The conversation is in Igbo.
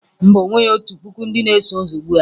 Mba, o nweghi otu puku ndị na-eso ụzọ ugbu a.